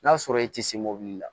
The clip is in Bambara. N'a sɔrɔ i ti se mobili la